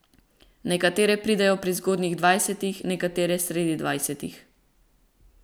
Nekatere pridejo pri zgodnjih dvajsetih, nekatere sredi dvajsetih.